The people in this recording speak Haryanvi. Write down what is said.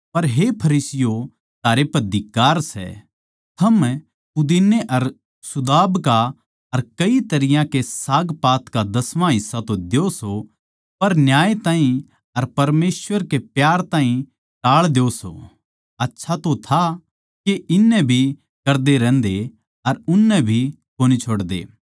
पर हे फरीसियों थारै पै धिक्कार सै थम पुदीने अर सुदाब का अर कई तरियां के सागपात का दसमां हिस्सा द्यो सो पर न्याय ताहीं अर परमेसवर कै प्यार ताहीं टाळ द्यो सो आच्छा तो था के इन्नै भी करदे रहन्दे अर उननै भी कोनी छोड़दे